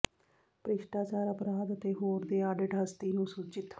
ਭ੍ਰਿਸ਼ਟਾਚਾਰ ਅਪਰਾਧ ਅਤੇ ਹੋਰ ਦੇ ਆਡਿਟ ਹਸਤੀ ਨੂੰ ਸੂਚਿਤ